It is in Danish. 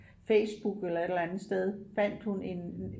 Facebook elller et eller andet sted fandt hun en